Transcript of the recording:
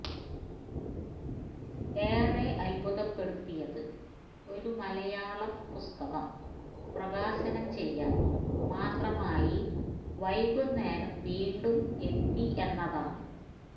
ഏറെ അത്ഭുതപ്പെടുത്തിയത് ഒരു മലയാളം പുസ്തകം പ്രകാശനം ചെയ്യാന് മാത്രമായി വൈകുന്നേരം വീണ്ടും എത്തി എന്നതാണ്